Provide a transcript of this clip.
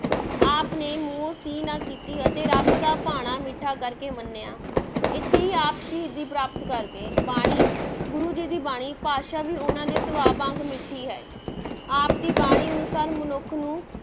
ਆਪ ਨੇ ਮੂੰਹੋਂ ਸੀ ਨਾ ਕੀਤੀ ਅਤੇ ਰੱਬ ਦਾ ਭਾਣਾ ਮਿੱਠਾ ਕਰ ਕੇ ਮੰਨਿਆ, ਇੱਥੇ ਹੀ ਆਪ ਸ਼ਹੀਦੀ ਪ੍ਰਾਪਤ ਕਰ ਗਏ, ਬਾਣੀ ਗੁਰੂ ਜੀ ਦੀ ਬਾਣੀ ਭਾਸ਼ਾ ਵੀ ਉਹਨਾਂ ਦੇ ਸੁਭਾਅ ਵਾਂਗ ਮਿੱਠੀ ਹੈ, ਆਪ ਦੀ ਬਾਣੀ ਅਨੁਸਾਰ ਮਨੁੱਖ ਨੂੰ